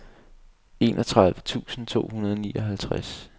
enogtredive tusind to hundrede og nioghalvtreds